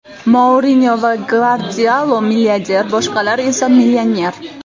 Mourinyo va Gvardiola milliarder, boshqalar esa millioner.